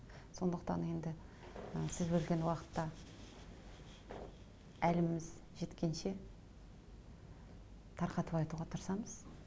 сондықтан енді ы сіз бөлген уақытта әліміз жеткенше тарқатып айтуға тырысамыз